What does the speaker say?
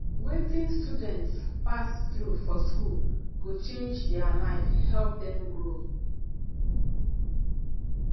wetin students pass through for school go change their life help dem grow